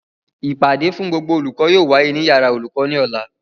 Ìpàdé fún gbogbo olùkọ́ yóò wáyé ní yàrá olùkọ́ ní Ọ̀la